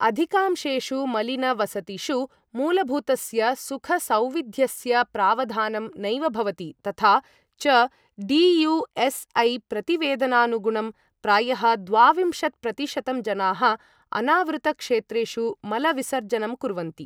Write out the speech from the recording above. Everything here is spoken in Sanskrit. अधिकांशेषु मलिन वसतिषु मूलभूतस्य सुखसौविध्यस्य प्रावधानं नैव भवति तथा च डी.यू.एस्.ऐ. प्रतिवेदनानुगुणं प्रायः द्वाविम्शत्प्रतिशतं जनाः अनावृत क्षेत्रेषु मल विसर्जनं कुर्वन्ति।